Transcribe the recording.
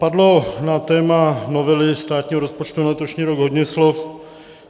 Padlo na téma novely státního rozpočtu na letošní rok hodně slov.